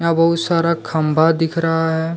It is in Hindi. बहू सारा खंभा दिख रहा है।